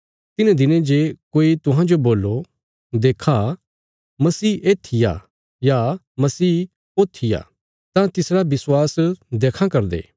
तिन्हें दिनें जे कोई तुहांजो बोल्लो देक्खा मसीह येत्थी आ या ओत्थी आ तां तिसरा विश्वास देक्खां करदे